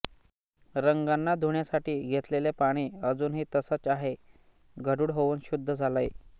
रंगांना धुण्यासाठी घेतलेले पाणी अजूनही तसंच आहे गढूळ होऊन शुद्ध झालंय